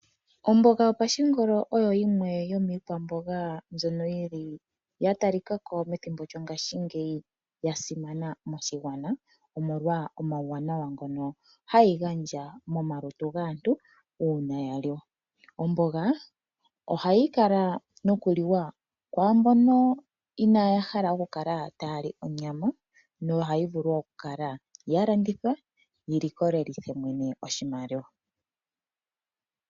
Omboga yopashingolo oyo yimwe yomiikwamboga mbyono yi li ya talika ko methimbo lyongashingeyi ya shimana moshigwana, omolwa omauwanawa ngono hayi gandja momalutu gaantu uuna ya liwa. Omboga ohayi kala nokuliwa kwaa mbono inaaya hala okukala taya li onyama nohayi vulu wo okukala ya landithwa yi likolithe mwene oshimaliwa.